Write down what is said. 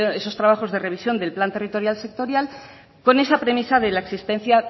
esos trabajos de revisión del plan territorial sectorial con esa premisa de la existencia